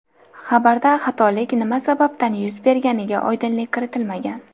Xabarda xatolik nima sababdan yuz berganiga oydinlik kiritilmagan.